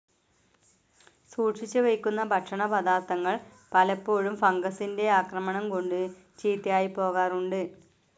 സൂക്ഷിച്ചു വയ്ക്കുന്ന ഭക്ഷണ പദാർഥങ്ങൾ പലപ്പോഴും ഫംഗസിന്റെ ആക്രമണം കൊണ്ട് ചീത്തയായിപ്പോകാറുണ്ട്.